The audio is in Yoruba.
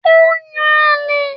Ó n yan àlè